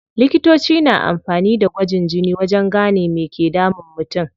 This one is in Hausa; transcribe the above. Likitoci na amfani da gwajin jini wajen gane me ke damun mutum.